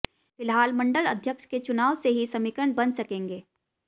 फिलहाल मंडल अध्यक्ष के चुनाव से ही समीकरण बन सकेंगे